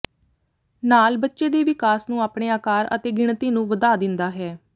ਨਾਲ ਬੱਚੇ ਦੇ ਵਿਕਾਸ ਨੂੰ ਆਪਣੇ ਆਕਾਰ ਅਤੇ ਗਿਣਤੀ ਨੂੰ ਵਧਾ ਦਿੰਦਾ ਹੈ